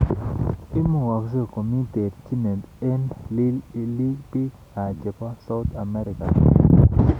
Imukaksei komii terchinet eng �liik chepo South Amerika ,kimwa